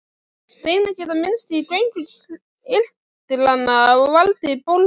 Steinar geta myndast í göngum kirtlanna og valdið bólgu.